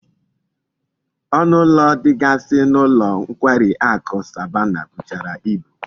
Onu ulo digasi n'ulo nkwari aku Asabana buchara ibu